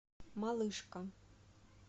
малышка